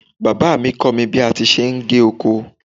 Bàbá mi kọ́ mi bí a ti ṣe ń gé oko.